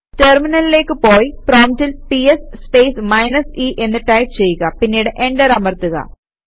ടെര്മിനലിലേക്ക് പോയി പ്രോംപ്റ്റിൽ PS space minus e എന്ന് ടൈപ് ചെയ്യുക പിന്നീട് എന്റര് അമര്ത്തുക